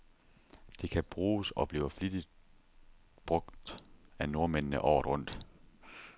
Det kan bruges, og bliver flittigt brug af nordmændene, året rundt.